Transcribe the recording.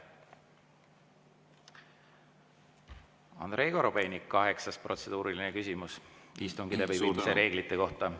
Andrei Korobeinik, kaheksas protseduuriline küsimus istungi läbiviimise reeglite kohta!